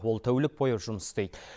ол тәулік бойы жұмыс істейді